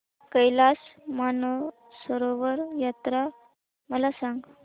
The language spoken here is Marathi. कैलास मानसरोवर यात्रा मला सांग